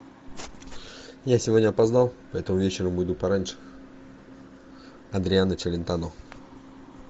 я сегодня опоздал поэтому вечером буду пораньше адриано челентано